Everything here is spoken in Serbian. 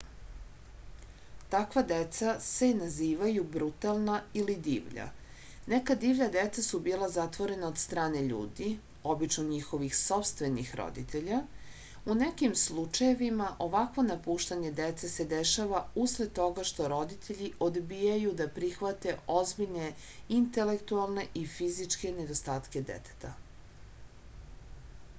таква деца се називају брутална или дивља. нека дивља деца су била затворена од стране људи обично њихових сопствених родитеља; у неким случајевима овакво напуштање деце се дешава услед тога што родитељи одбијају да прихвате озбиљне интелектуалне и физичке недостатке детета